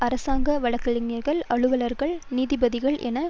அரசாங்க வழக்கறிஞர்கள் அலுவலர்கள் நீதிபதிகள் என